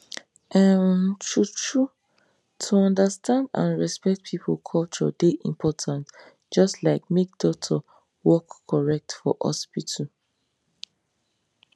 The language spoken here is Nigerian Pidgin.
um true true to understand and respect people culture dey important just like make doctor work correct for hospital